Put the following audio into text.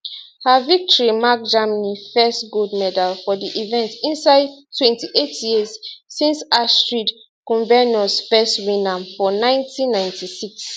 her victory mark germany first gold medal for di event inside 28 years since astrid kumbernuss first win am for 1996